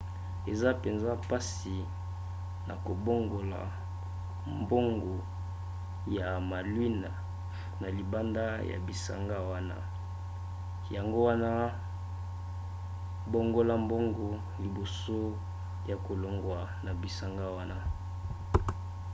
eza mpenza mpasi na kobongola mbongo ya malouines na libanda ya bisanga wana yango wana bongola mbongo liboso ya kolongwa na bisanga wana